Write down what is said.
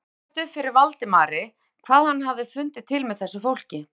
Það rifjaðist upp fyrir Valdimari hvað hann hafði fundið til með þessu fólki.